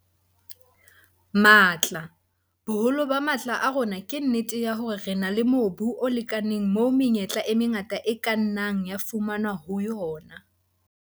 Matla- Boholo ba matla a rona ke nnete ya hore re na le mobu o lekaneng moo menyetla e mengata e ka nnang ya fumanwa ho yona.